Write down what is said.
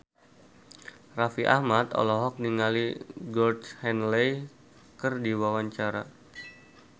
Raffi Ahmad olohok ningali Georgie Henley keur diwawancara